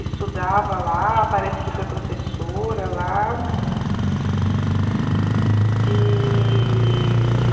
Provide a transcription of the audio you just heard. Estudava lá, parece que foi professora lá. E...